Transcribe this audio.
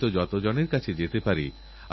ভারতেরএক শুভ সূচনা হোক